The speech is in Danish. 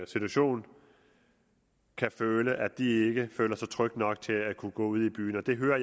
situation kan føle at de ikke føler sig trygge nok til at kunne gå ud i byen jeg hører